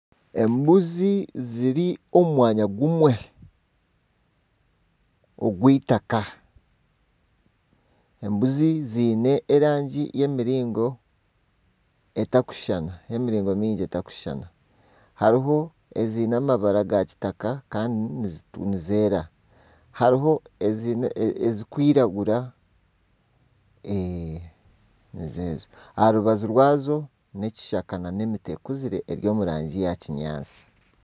Embuzi ziri omu mwanya gumwe ogw'itaka. Embuzi ziine erangi y'emiringo etarikushushana. Hariho eziine amabara gakitaka kandi ezindi nizeera. Hariho ezirikwiragura. Eeeh nizezo. Aha rubaju rwazo hariho ekishaka kiine emiti ekuzire eri omu rangi yakinyaatsi.